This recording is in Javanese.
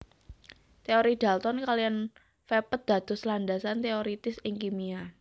Teori dalton kaliyan vepet dados landasan teoiritis ing kimia